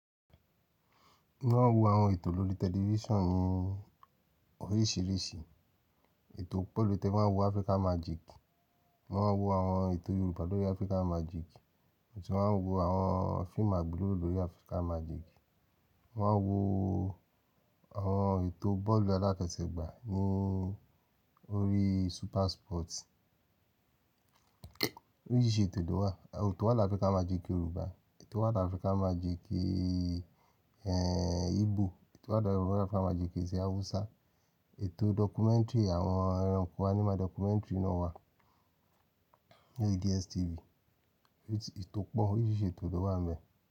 Mọ́ maa wọ àwọn ètò lórí tẹlifísàn ni oríṣìíríṣìí. Ètò pẹ̀lú tẹ bá wo Africa Magic, mọ́ maa n wọ àwọn ètò Yorùbá lórí Africa Magic, mọ́ tún maa n wọ àwọn fíìmù àgbéléwo lórí Africa Magic. Mọ́ maa n wọ àwọn ètò bọ́ọ̀lù aláfẹsẹ̀gbá ní orí Super Sport. Oríṣìíríṣìí ètò ló wà. Ètò wà ní Africa Magic Yorùbá, ètò wà ní Africa Magic, ẹ́, Igbo, ètò wà ní Africa Magic tì Hausa, ètò documentary àwọn ẹranko animal documentary náà wà ní DSTV. Oríṣìí ètò pọ̀, oríṣìíríṣìí ètò ló wà bẹ́